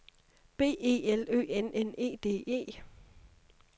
B E L Ø N N E D E